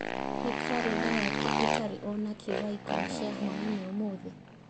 Nĩ karenda yakwa ĩtarĩ o nakĩĩ thaa ikũmi cia hwaĩinĩ ũmũthĩ